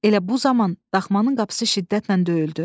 Elə bu zaman daxmanın qapısı şiddətlə döyüldü.